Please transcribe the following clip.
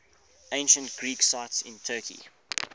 ancient greek sites in turkey